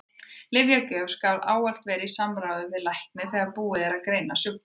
Lyfjagjöf skal ávallt vera í samráði við lækni þegar búið er að greina sjúkdóminn.